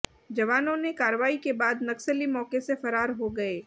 जवानों ने कार्रवाई के बाद नक्सली मौके से फरार हो गए